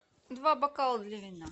два бокала для вина